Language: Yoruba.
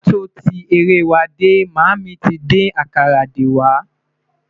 k'a tọ tí eré wà dé, mami tí dín àkàrà dé wà